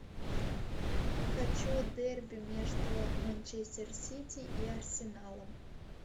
хочу дерби между манчестер сити и арсеналом